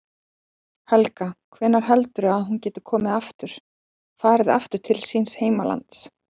Helga: Hvenær heldurðu að hún geti komið aftur, farið aftur til síns heimalands?